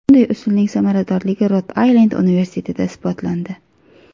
Bunday usulning samaradorligi Rod-Aylend universitetida isbotlandi.